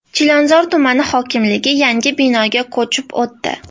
Chilonzor tumani hokimligi yangi binoga ko‘chib o‘tdi.